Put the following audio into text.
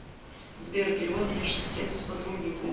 сбер перевод денежных средств сотруднику